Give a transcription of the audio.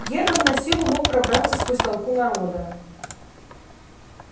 германн на силу мог пробраться сквозь толпу народа